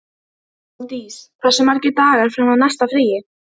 Hofdís, hversu margir dagar fram að næsta fríi?